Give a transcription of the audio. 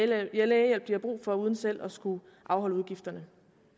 lægehjælp de har brug for uden selv at skulle afholde udgifterne